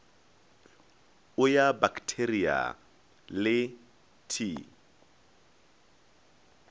o ya baktheria le t